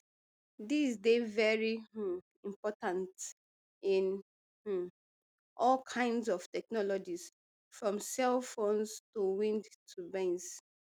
these dey very um important in um all kinds of technologies from cell phones to wind turbines